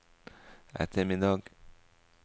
ettermiddag